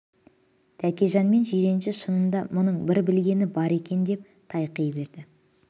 тәкежан мен жиренше шынында мұның бір білгені бар екен деп тайқи берді